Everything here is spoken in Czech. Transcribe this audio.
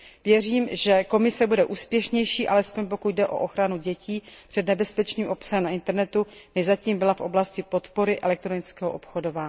Věřím, že Komise bude úspěšnější, alespoň pokud jde o ochranu dětí před nebezpečným obsahem na internetu, než zatím byla v oblasti podpory elektronického obchodu.